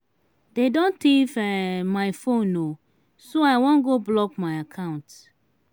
dey don thief um my phone um so i wan go block my accounts.